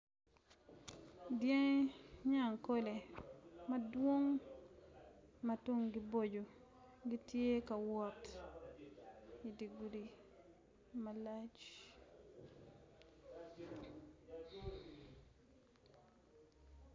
Dyangi nyakole madwong ma tunggi boco gitye ka wot idi gudi malac